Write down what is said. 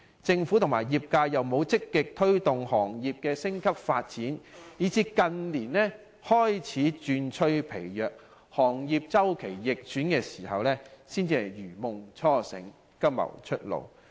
政府和業界又沒有積極推動行業升級發展，以致近年旅遊業日趨疲弱，周期逆轉時，才如夢初醒，急謀出路。